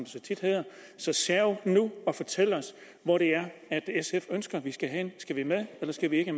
så tit hedder så serv nu og fortæl os hvor det er sf ønsker vi skal hen skal vi med eller skal vi ikke